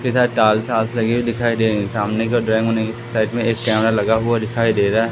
इधर डाल साल लगे हुए दिखाई दे रहीं सामने के ओर साइड मे एक कैमरा लगा हुआ दिखाई दे रहा है।